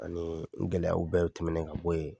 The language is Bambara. Anii n gɛlɛyaw bɛɛw tɛmɛnɛn ka bɔ ye